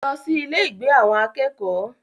Lọ sí ilé-ìgbé àwọn akẹ́kọ̀ọ́!